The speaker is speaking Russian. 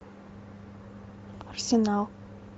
арсенал